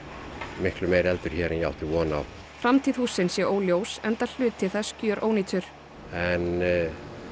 miklu meiri eldur hér en ég átti von á framtíð hússins sé óljós enda hluti þess gjörónýtur en